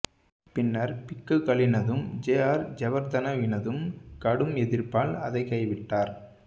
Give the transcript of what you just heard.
பின்னர் பிக்குகளினதும் J R ஜயவர்தனவினதும் கடும் எதிர்ப்பால் அதைக் கைவிட்டார்